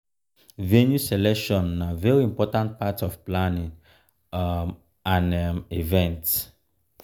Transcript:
venue selection na very important part of planning um an um event